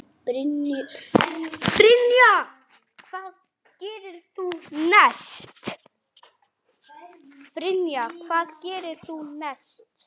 Brynja: Hvað gerðir þú næst?